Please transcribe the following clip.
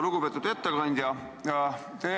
Lugupeetud ettekandja!